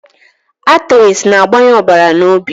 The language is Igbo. Atrị na-agbanye ọbara na obi